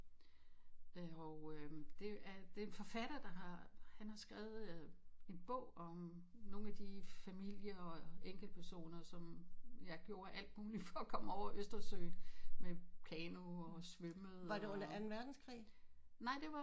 Og øh det er en forfatter der har han har skrevet en bog om nogle af de familier og enkelt personer som ja gjorde alt muligt for at komme over østersøen med kano og svømmede